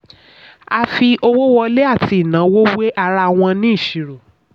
a fi owó wọlé àti ìnáwó wé ara wọn ní ìṣirò.